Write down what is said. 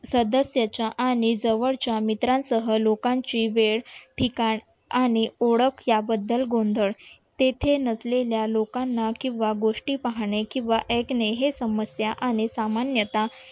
सदस्याच्या आणि जवळच्या मित्रांसह लोकांची वेळ ठिकाण आणि ओळख याबद्दल गोंधळ तेथे नसलेल्या लोकांना किंवा गोष्टी पाहणे किंवा ऐकणे हे समस्या आणि सामान्यता